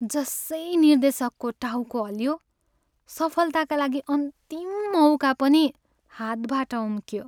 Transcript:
जसै निर्देशकको टाउको हल्लियो, सफलताका लागि अन्तिम मौका पनि हातबाट उम्कियो।